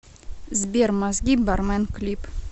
сбер мозги бармен клип